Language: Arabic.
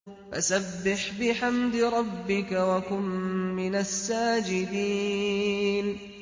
فَسَبِّحْ بِحَمْدِ رَبِّكَ وَكُن مِّنَ السَّاجِدِينَ